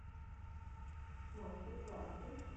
мастер классы